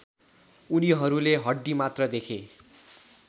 उनीहरूले हड्डीमात्र देखे